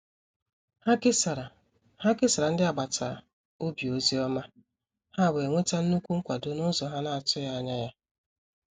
Ha kesara Ha kesara ndị agbata obi ozi ọma, ha wee nwete nnukwu nkwado n’ụzọ ha na-atụghị anya ya.